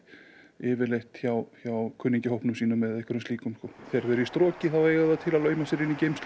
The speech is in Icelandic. yfirleitt hjá hjá kunningjum sínum eða einhverjum slíkum þegar þau eru í eiga þau það til að lauma sér inn í geymslur